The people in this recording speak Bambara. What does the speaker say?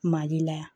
Mali la yan